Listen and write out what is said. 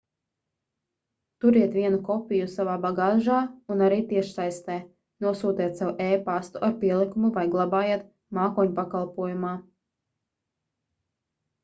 turiet vienu kopiju savā bagāžā un arī tiešsaistē nosūtiet sev e-pastu ar pielikumu vai glabājiet mākoņpakalpojumā"